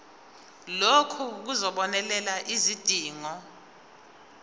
lokhu kuzobonelela izidingo